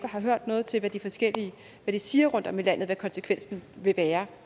har hørt noget til hvad de forskellige siger rundtom i landet om hvad konsekvensen vil være